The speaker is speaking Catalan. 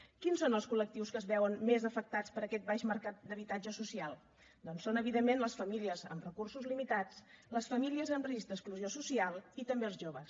quins són els col·lectius que es veuen més afectats per aquest baix mercat d’habitatge social doncs són evidentment les famílies amb recursos limitats les famílies en risc d’exclusió social i també els joves